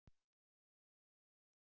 Hvítrússar fá lán